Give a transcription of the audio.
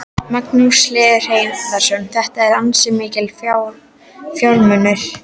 Magnús Hlynur Hreiðarsson: Þetta eru ansi miklir fjármunir?